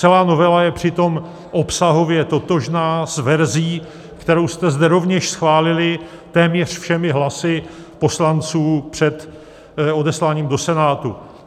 Celá novela je přitom obsahově totožná s verzí, kterou jste zde rovněž schválili téměř všemi hlasy poslanců před odesláním do Senátu.